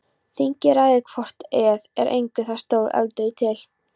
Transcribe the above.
Þingið ræður hvort eð er engu- það stóð aldrei til.